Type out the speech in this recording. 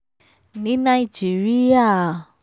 ní nàìjíríà